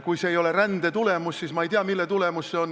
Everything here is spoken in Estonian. Kui see ei ole rände tulemus, siis ma ei tea, mille tulemus see on.